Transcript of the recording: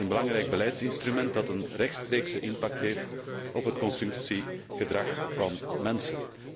Het is een belangrijk beleidsinstrument dat een rechtstreekse impact heeft op het consumptiegedrag van mensen.